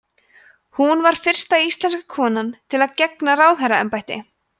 hún var fyrsta íslenska konan til að gegna ráðherraembætti